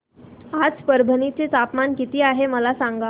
आज परभणी चे तापमान किती आहे मला सांगा